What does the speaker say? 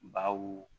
Baw